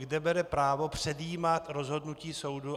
Kde bere právo předjímat rozhodnutí soudu?